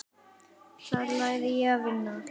Þar lærði ég að vinna.